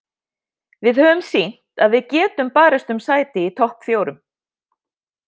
Við höfum sýnt að við getum barist um sæti í topp fjórum.